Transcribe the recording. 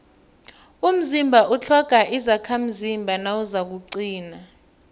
umzimba utlhoga izakhamzimba nawuzakuqina